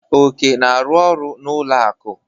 Oke na-arụ ọrụ n'ụlọ akụ.